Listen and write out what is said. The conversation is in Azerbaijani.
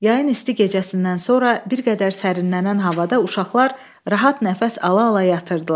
Yayın isti gecəsindən sonra bir qədər sərinlənən havada uşaqlar rahat nəfəs ala-ala yatırdılar.